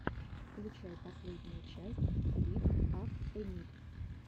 включай последнюю часть лифт ап эмиль